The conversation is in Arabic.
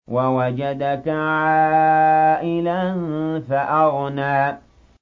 وَوَجَدَكَ عَائِلًا فَأَغْنَىٰ